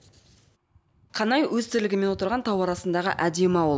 қанай өз тірлігімен отырған тау арасындағы әдемі ауыл